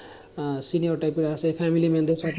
আহ cinema type এর আসে family man দের সাথে